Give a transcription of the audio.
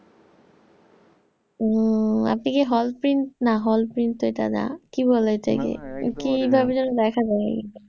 হম আপনি কি hall print না, hall print তো এটা না। কি বলে এটাকে কিভাবে যেন দেখা যায়।